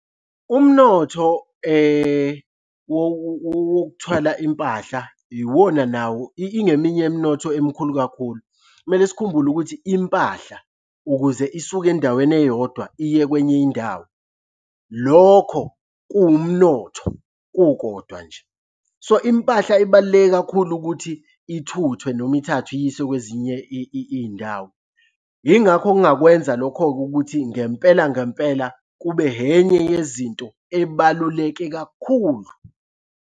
Umnotho wokuthwala impahla iwona nawo. Ingeminye yemnotho emkhulu kakhulu. Kumele sikhumbule ukuthi impahla ukuze isuke endaweni eyodwa iye kwenye indawo lokho kuwumnotho kukodwa nje. So, impahla ibaluleke kakhulu ukuthi ithuthwe noma ithathwe iyiswe kwezinye iy'ndawo. Yingakho ngingakwenza lokho-ke ukuthi ngempela ngempela kube enye yezinto ebaluleke kakhulu.